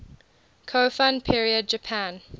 kofun period japan